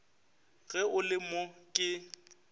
ge o le mo ke